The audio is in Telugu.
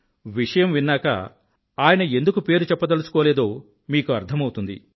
విషయం విన్నాక ఆయన ఎందుకు పేరు చెప్పదలుచుకోలేదో మీకు అర్థమౌతుంది